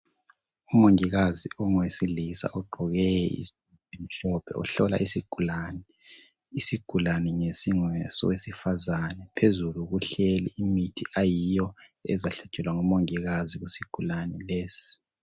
Umongikazi ongowesilisa ogqoke isudu emhlophe uhlola isigulani. Isigulani ngesingesowesifazana phezulu kuhlezi imithi ezahlatshelwa ngumongikazi isigulani lesi.